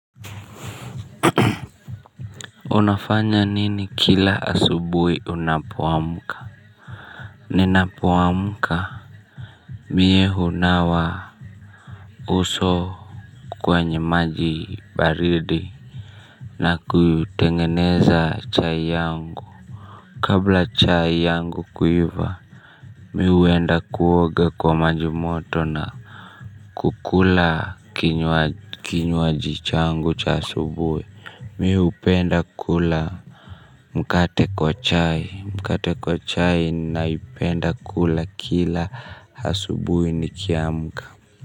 Unafanya nini kila asubuhi unapoamka. Ninapo amka mie hunawa uso kwenye maji baridi. Na kutengeneza chai yangu. Kabla chai yangu kuiva mimi huenda kuoga kwa maji moto na kukula kinywaji changu cha asubuhi. Mi hupenda kula mkate kwa chai, mkate kwa chai naipenda kula kila asubuhi nikiamka.